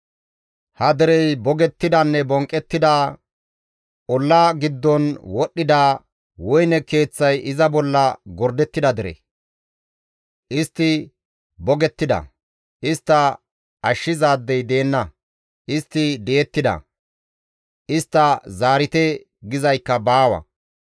Ha derey bogettidanne bonqqettida, olla giddon wodhdhida, woyne keeththay iza bolla gordettida dere; istti bogettida; istta ashshizaadey deenna; istti di7ettida; «Istta zaarite» gizaykka baawa.